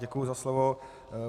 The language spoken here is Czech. Děkuji za slovo.